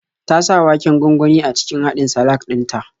Ta sa waken gwangwani a cikin haɗin salak din ta.